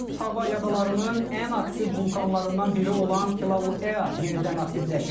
Hava adalarının ən aktiv vulkanlarından biri olan Kilauea yenidən aktivləşib.